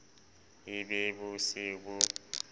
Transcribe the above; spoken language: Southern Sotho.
e be bo se bo